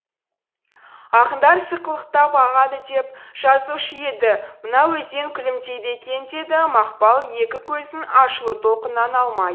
ақындар сықылықтап ағады деп жазушы еді мына өзен күлімдейді екен деді мақпал екі көзін ашулы толқыннан алмай